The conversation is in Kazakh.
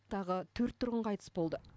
тағы төрт тұрғын қайтыс болды